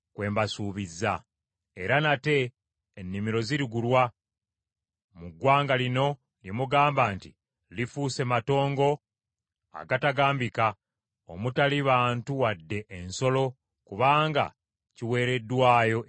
Era nate ennimiro zirigulwa mu ggwanga lino lye mugamba nti, ‘Lifuuse matongo agatagambika, omutali bantu wadde ensolo kubanga kiweereddwayo eri Abakaludaaya.’